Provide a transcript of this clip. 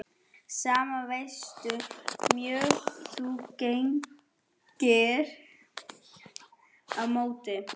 Sama hversu mjög þú grenjar á móti því.